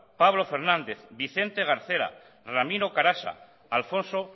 pablo fernández vicente garcera ramiro carasa alfonso